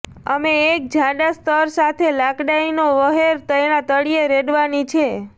અમે એક જાડા સ્તર સાથે લાકડાંઈ નો વહેર તેના તળિયે રેડવાની છે